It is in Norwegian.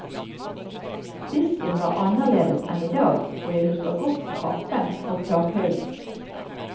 Disken var annerledes enn i dag, og jeg husker godt trappen og takhøyden.